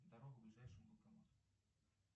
дорога к ближайшему банкомату